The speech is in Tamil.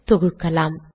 தொகுக்கலாம்